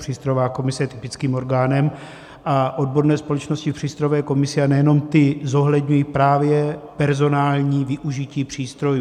Přístrojová komise je typickým orgánem a odborné společnosti v přístrojové komisi, a nejenom ty, zohledňují právě personální využití přístrojů.